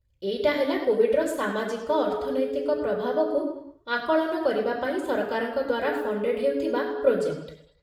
ଏଇଟା ହେଲା କୋଭିଡ୍‌ର ସାମାଜିକ ଅର୍ଥନୈତିକ ପ୍ରଭାବକୁ ଆକଳନ କରିବା ପାଇଁ ସରକାରଙ୍କ ଦ୍ୱାରା ଫଣ୍ଡେଡ୍ ହେଉଥିବା ପ୍ରୋଜେକ୍ଟ ।